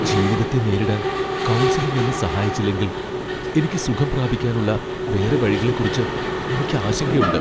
ജീവിതത്തെ നേരിടാൻ കൗൺസിലിംഗ് എന്നെ സഹായിച്ചില്ലെങ്കിൽ എനിക്ക് സുഖം പ്രാപിക്കാനുള്ള വേറെ വഴികളെക്കുറിച്ച് എനിക്ക് ആശങ്കയുണ്ട്.